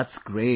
That's great